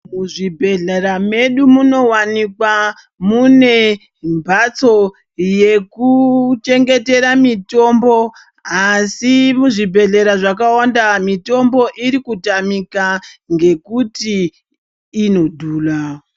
Muzvibhedhlera medu munowanikwa mune mhatso yekuchengetera mutombo asi muzvibhedhlera zvakawanda mitombo irikutamika ngekuti inodhura.